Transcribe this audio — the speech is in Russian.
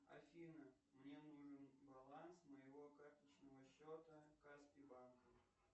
афина мне нужен баланс моего карточного счета каспи банка